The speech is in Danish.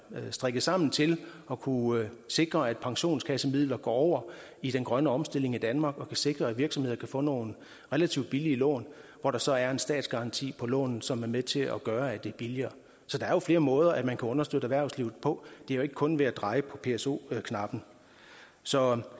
strikket sammen til at kunne sikre at pensionskassemidler går over i den grønne omstilling i danmark og kan sikre at virksomheder kan få nogle relativt billige lån hvor der så er en statsgaranti på lånet som er med til at gøre at det er billigere så der er jo flere måder som man kan understøtte erhvervslivet på det er ikke kun ved at dreje på pso knappen så